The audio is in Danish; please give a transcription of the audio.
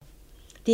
DR1